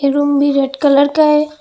Room भी red colour का है।